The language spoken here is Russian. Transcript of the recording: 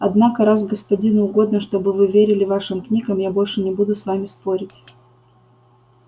однако раз господину угодно чтобы вы верили вашим книгам я больше не буду с вами спорить